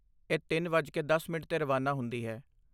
ਇਹ ਤਿੰਨ ਵੱਜ ਕੇ ਦਸ ਮਿੰਟ 'ਤੇ ਰਵਾਨਾ ਹੁੰਦੀ ਹੈ